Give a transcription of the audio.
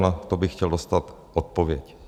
Na to bych chtěl dostat odpověď.